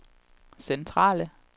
centrale